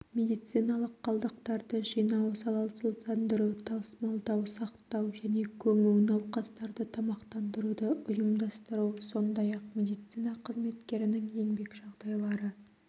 медициналық қалдықтарды жинау залалсыздандыру тасымалдау сақтау және көму науқастарды тамақтандыруды ұйымдастыру сондай-ақ медицина қызметкерінің еңбек жағдайлары